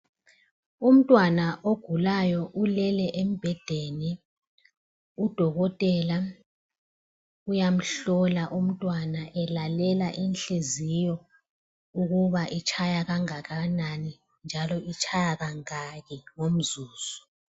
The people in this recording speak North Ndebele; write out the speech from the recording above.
Umntwana ogulayo ulele embhedeni udokotela uyamhlola umntwana elalela inhliziyo ukuba itshaya kangakanani njalo itshaya kangaki ngomzuzu.